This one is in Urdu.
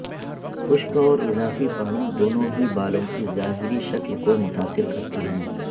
خشک اور اضافی پانی دونوں ہی بالوں کی ظاہری شکل کو متاثر کرتی ہیں